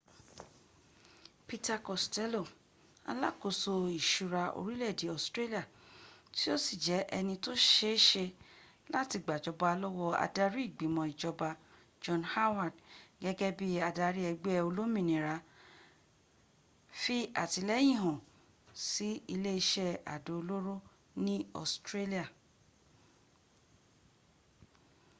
peter costello alákòso ìsúra orílè-èdè australia tí o si jẹ ẹni tó sẹẹsẹẹ láti gbàjọba lówó adarí ìgbìmò ìjọba john howard gẹ́gẹ́ bi adarí ẹgbẹ´ oẹlómìnira tí àtíléyìn hán sí ilẹ́ isẹ́ àdó olóró ní australia